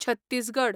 Chhattisgarh